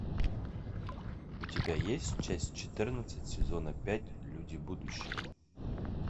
у тебя есть часть четырнадцать сезона пять люди будущего